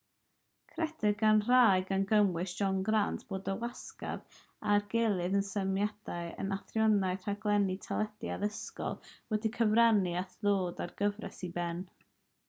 credir gan rai gan gynnwys john grant bod y wasgfa ar gyllid a symudiad yn athroniaeth rhaglennu teledu addysgol wedi cyfrannu at ddod â'r gyfres i ben